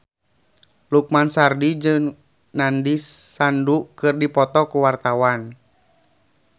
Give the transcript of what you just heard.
Lukman Sardi jeung Nandish Sandhu keur dipoto ku wartawan